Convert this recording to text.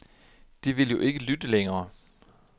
De vil jo ikke lytte længere.